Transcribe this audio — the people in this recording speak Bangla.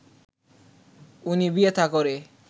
উনি বিয়ে-থা করে